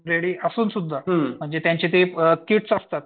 ready असून सुद्धा म्हणजे त्यांचे ते किट्स असतात